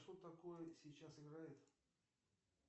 что такое сейчас играет